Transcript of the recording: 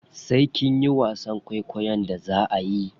Sai kinyi wasan kwaikwon da zaa ayi.